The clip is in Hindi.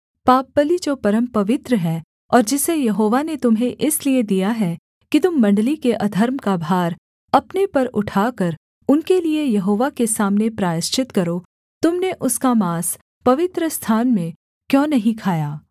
पापबलि जो परमपवित्र है और जिसे यहोवा ने तुम्हें इसलिए दिया है कि तुम मण्डली के अधर्म का भार अपने पर उठाकर उनके लिये यहोवा के सामने प्रायश्चित करो तुम ने उसका माँस पवित्रस्थान में क्यों नहीं खाया